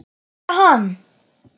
Yrkja hann!